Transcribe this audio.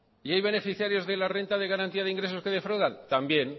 y hay beneficiarios de la renta de garantía de ingresos que defraudan también